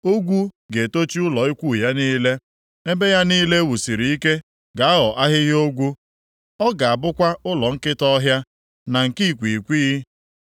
Ogwu ga-etochi ụlọ ukwu ya niile; ebe ya niile e wusiri ike ga-aghọ ahịhịa ogwu, ọ ga-abụkwa ụlọ nkịta ọhịa na nke ikwighịkwighị.